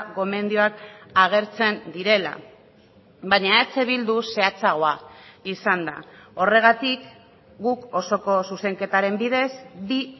gomendioak agertzen direla baina eh bildu zehatzagoa izan da horregatik guk osoko zuzenketaren bidez bi